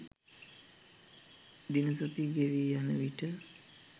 දින සති ගෙවීයන විට